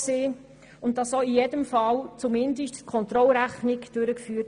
Weiter wird auch in jedem Fall zumindest die Kontrollrechnung durchgeführt.